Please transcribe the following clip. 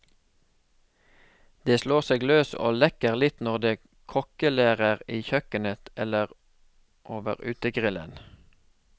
De slår seg løs og leker litt når de kokkelerer i kjøkkenet, eller over utegrillen.